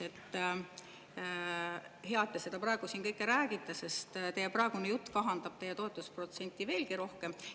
See on hea, et te seda kõike praegu siin räägite, sest teie praegune jutt kahandab teie toetusprotsenti veelgi rohkem.